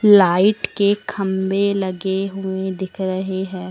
Light के खंभे लगे हुए दिख रहे हैं।